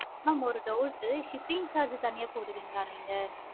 mam ஒரு doubt shipping charges தனியா போடுவீங்களா? நீங்க